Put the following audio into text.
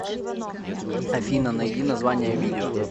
афина найди название видео